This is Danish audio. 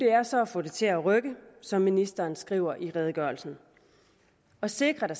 er så at få det til at rykke som ministeren skriver i redegørelsen og sikre at